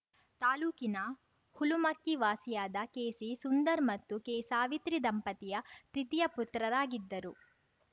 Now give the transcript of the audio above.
ತಾಲೂಕಿನ ಹುಲುಮಕ್ಕಿ ವಾಸಿಯಾದ ಕೆಸಿ ಸುಂದರ್‌ ಮತ್ತು ಕೆ ಸಾವಿತ್ರಿ ದಂಪತಿಯ ತೃತೀಯ ಪುತ್ರರಾಗಿದ್ದರು